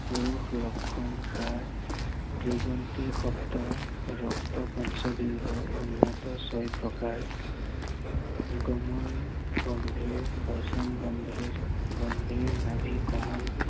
পুৰুষ লক্ষণ হাৰ, দিগন্তে সপ্ত ৰক্ত পঞ্চ দীৰ্ঘ উন্নত ছয় প্ৰকাৰ গমন গম্ভীৰ বচন, গম্ভীৰ নাভী কমল